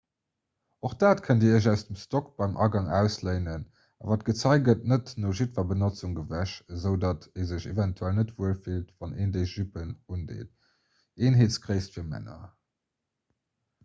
och dat kënnt dir iech aus dem stock beim agang ausléinen awer d'gezei gëtt net no jiddwer benotzung gewäsch esou datt ee sech eventuell net wuel fillt wann een déi juppen undeet eenheetsgréisst fir männer